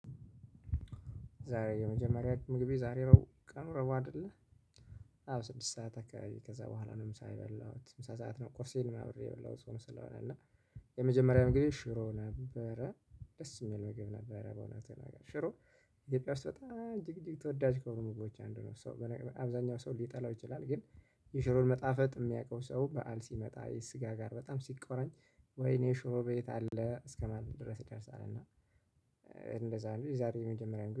ዛሬ የመጀመሪያ ምግቤ ዛሬ እሮብ ቀን ነው አይደለም አሁን ስድስት ሰዓት አከባቢ ከዛ በኋላ ነው ምሳ የበላሁት። ምሳ ሰዓት ነው ቁርሴን አብሬ የበላሁት ጾም ስለሆነ ነው እና የመጀመርያ ምግቤ ሽሮ ነበረ። ደስ የሚል ምግብ ነበረ በእውነት ለመናገር። ሽሮ እትዮጵያ ውስጥ እጅግ እጅግ ተወዳጅ የሆኑ ምግቦች ውስጥ አንዱ ነው። አብዛኛው ሰው ልጠላው ይችላል ግን የሽሮ መጣፈጥ የሚያውቀው ሰው በዓል ስመጣ ስጋ ጋር በጣም ስቆራኝ ወይኔ ሽሮ ቤት አለ እስከ ማለት ድረስ ይደርሳል። እንደዛ ነው የዛሬ የመጀመሪያ ምግቤ